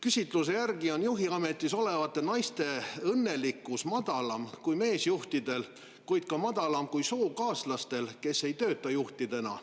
Küsitluse järgi on juhiametis olevate naiste õnnelikkuse madalam kui meesjuhtidel, kuid ka madalam kui nendel sookaaslastel, kes ei tööta juhtidena.